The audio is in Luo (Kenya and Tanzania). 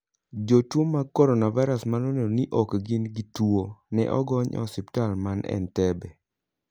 Jotuo mag Coronavirus ma noneno ni ok gin gi tuo, ne ogony e osiptal man Entebbe.